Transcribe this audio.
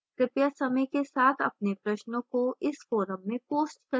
कृपया समय के साथ अपने प्रश्नों को इस forum में post करें